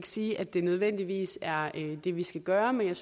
sige at det nødvendigvis er det vi skal gøre men jeg